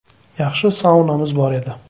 Yaxshi saunamiz bor edi.